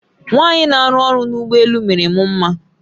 Nwanyị n'arụ ọrụ n'ụgbọ elù mere m mma